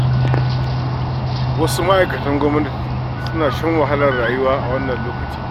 Wasu ma'aikatan gwamnatin suna shan wahalar rayuwa a wannan lokacin.